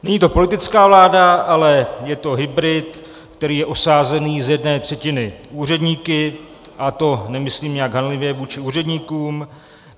Není to politická vláda, ale je to hybrid, který je osazený z jedné třetiny úředníky, a to nemyslím nijak hanlivě vůči úředníkům.